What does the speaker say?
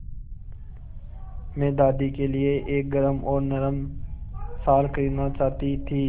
मैं दादी के लिए एक गरम और नरम शाल खरीदना चाहती थी